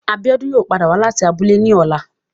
Abiola yoo pada wa lati abule ni ọla